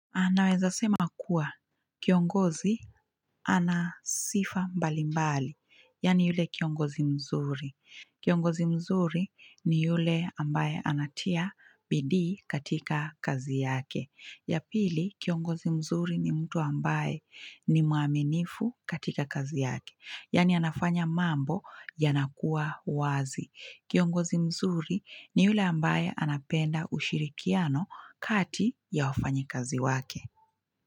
Naweza sema kuwa kiongozi ana sifa mbalimbali, yaani yule kiongozi mzuri. Kiongozi mzuri ni yule ambaye anatia bidii katika kazi yake. Ya pili, kiongozi mzuri ni mtu ambaye ni mwaminifu katika kazi yake. Yaani anafanya mambo yanakua wazi. Kiongozi mzuri ni yule ambaye anapenda ushirikiano kati ya wafanyikazi wake.